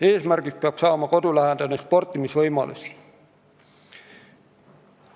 Eesmärgiks peab saama kodulähedaste sportimisvõimaluste loomine.